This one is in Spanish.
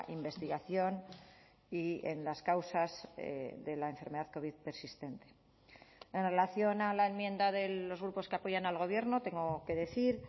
investigación y en las causas de la enfermedad covid persistente en relación a la enmienda de los grupos que apoyan al gobierno tengo que decir